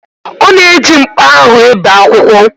Ọ na-eji mkpa ahụ e bee akwụkwọ.